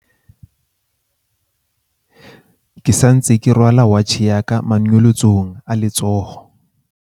ke sa ntse ke rwala watjhe ya ka manonyolotsong a letsoho